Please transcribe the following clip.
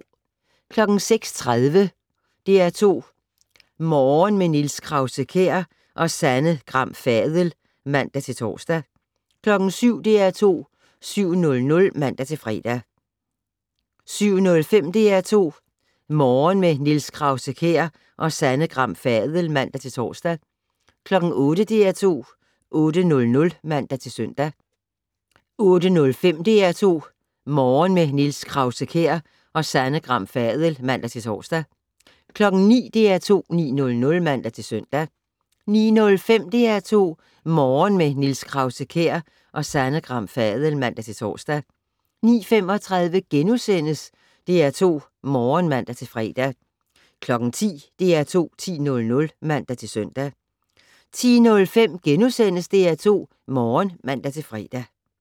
06:30: DR2 Morgen - med Niels Krause-Kjær og Sanne Gram Fadel (man-tor) 07:00: DR2 7:00 (man-fre) 07:05: DR2 Morgen - med Niels Krause-Kjær og Sanne Gram Fadel (man-tor) 08:00: DR2 8:00 (man-søn) 08:05: DR2 Morgen - med Niels Krause-Kjær og Sanne Gram Fadel (man-tor) 09:00: DR2 9:00 (man-søn) 09:05: DR2 Morgen - med Niels Krause-Kjær og Sanne Gram Fadel (man-tor) 09:35: DR2 Morgen *(man-fre) 10:00: DR2 10:00 (man-søn) 10:05: DR2 Morgen *(man-fre)